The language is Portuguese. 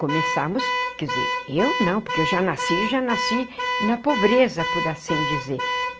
Começamos... quer dizer, eu não, porque eu já nasci já nasci na pobreza, por assim dizer.